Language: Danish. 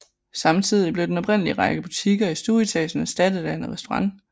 Samtidigt blev den oprindelige række butikker i stueetagen erstattet af en restaurant